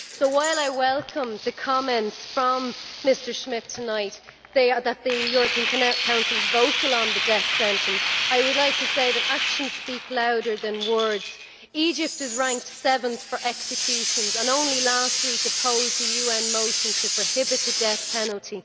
So, while I welcome the comment from Mr Schmit tonight that the European Council is vocal on the death sentence, I would like to say that actions speak louder than words. Egypt is ranked seventh for executions, and only last week opposed a UN motion to prohibit the death penalty.